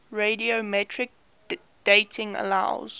radiometric dating allows